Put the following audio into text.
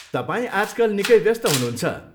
तपाईँ आजकल निकै व्यस्त हुनुहुन्छ।